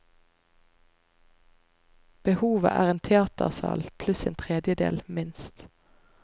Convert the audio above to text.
Behovet er en teatersal pluss en tredjedel, minst.